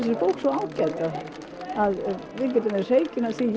bók svo ágæt við getum verið hreykin af því ég